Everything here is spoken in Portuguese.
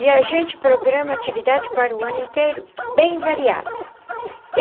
E a gente programa atividade para o ano inteiro bem variada.